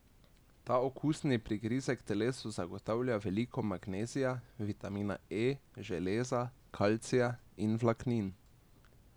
Ta okusni prigrizek telesu zagotavlja veliko magnezija, vitamina E, železa, kalcija in vlaknin.